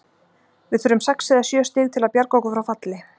Við þurfum sex eða sjö stig til að bjarga okkur frá falli.